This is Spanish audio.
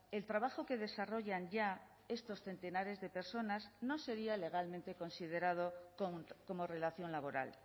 el trabajo que desarrollan ya estos centenares de personas no sería legalmente considerado como relación laboral